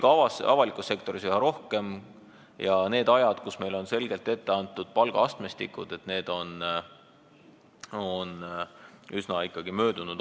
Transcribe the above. Ka avalikus sektoris on nii üha rohkem ja need ajad, kui meil olid selged palgaastmestikud ette antud, on üsna möödas.